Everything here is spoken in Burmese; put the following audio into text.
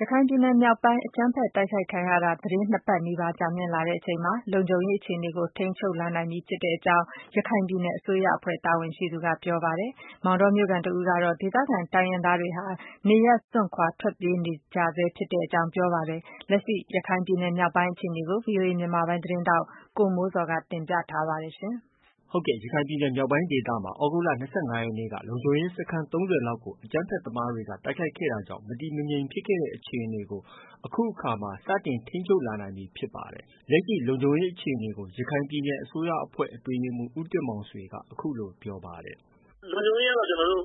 ရခိုင်ပြည်နယ်မြောက်ပိုင်း အကြမ်းဖက်တိုက်ခိုက်ခံရတာ သီတင်း၂ပတ်နီးပါးကြာမြင့်လာချိန်မှာ လုံခြုံရေးအခြေအနေကို ထိန်းချုပ်နိုင်လာပြီဖြစ်ကြောင်း ရခိုင်ပြည်နယ်အစိုးရအဖွဲ့က တာဝန်ရှိသူက ပြောပါတယ်။ မောင်တောမြို့ခံတဦးကတော့ ဒေသခံတိုင်းရင်းသားတွေဟာ နေရပ်စွန့်ခွာထွက်ပြေးနေကြဆဲရှိတယ်လို့ ပြောပါတယ်။ လက်ရှိ ရခိုင်ပြည်နယ်မြောက်ပိုင်းရဲ့အခြေအနေကို ဗွီအိုအေမြန်မာပိုင်းရဲ့သတင်းထောက် ကိုမိုးဇော်က တင်ပြထားပါတယ်။ ရခိုင်ပြည်နယ်မြောက်ပိုင်းဒေသက သြဂုတ်လ ၂၅ရက်နေ့က လုံခြုံရေးစခန်း ၃၀လောက်ကိုအကြမ်းဖက်သမားတွေကတိုက်ခိုက်ခဲ့တာကြောင့် မတည်မငြိမ်ဖြစ်ခဲ့တဲ့အခြေအနေကို အခုအခါမှာ စတင်ထိန်းချုပ်လာနိုင်ပြီဖြစ်ပါတယ်။ လက်ရှိ လုံခြုံရေးအခြေအနေကို ရခိုင်ပြည်နယ်အစိုးရအဖွဲ့ အတွင်းရေးမှုး ဦးတင်မောင်ဆွေက အခုလို ပြောပါတယ်။ “လုံခြုံရေးကတော့ ကျနေ်ာတို့